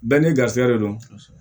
Bɛɛ n'i garisɛgɛ de don